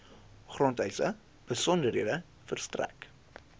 grondeise besonderhede verstrek